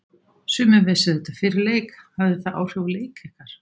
Sumir vissu þetta fyrir leik hafði það áhrif á leik ykkar?